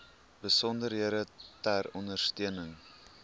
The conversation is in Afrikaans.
besonderhede ter ondersteuning